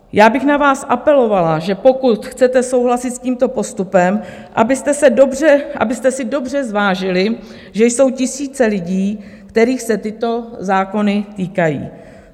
Já bych na vás apelovala, že pokud chcete souhlasit s tímto postupem, abyste si dobře zvážili, že jsou tisíce lidí, kterých se tyto zákony týkají.